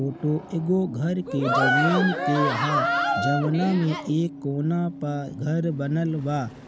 Photo एगो घर के जमीन के ह जवना मे एक कोना प घर बनल बा।